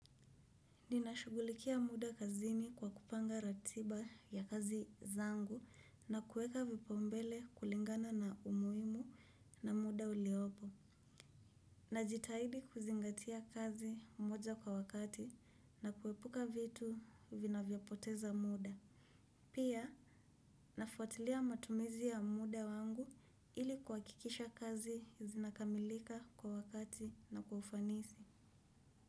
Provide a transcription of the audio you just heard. Ninashugulikia muda kazini kwa kupanga ratiba ya kazi zangu na kueka vipaumbele kulingana na umuimu na muda uliopo. Najitahidi kuzingatia kazi moja kwa wakati na kuepuka vitu vinavyopoteza muda. Pia, nafuatilia matumizi ya muda wangu ili kuwakikisha kazi zinakamilika kwa wakati na kwa ufanisi.